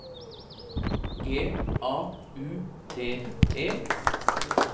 G A U T E